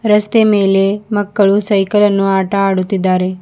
ರಸ್ತೆ ಮೇಲೆ ಮಕ್ಕಳನ್ನು ಸೈಕಲ್ ಆಟ ಆಡುತ್ತಿದ್ದಾರೆ.